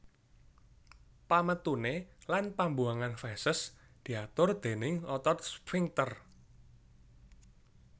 Pametuné lan pambuwangan feses diatur déning otot sphinkter